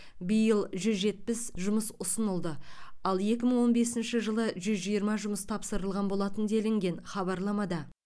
биыл жүз жетпіс жұмыс ұсынылды ал екі мың он бесінші жылы жүз жиырма жұмыс тапсырылған болатын делінген хабарламада